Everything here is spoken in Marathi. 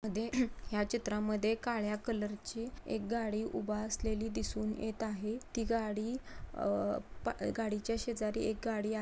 ह्या चित्रा मध्ये एक काळ्या कलर ची एक गाडी उभा असलेली दिसून येत आहे. ती गाडी आ गाडी च्या शेजारी एक गाडी आ--